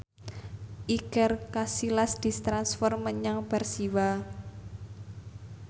Iker Casillas ditransfer menyang Persiwa